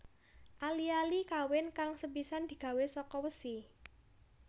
Ali ali kawin kang sepisanan digawé saka wesi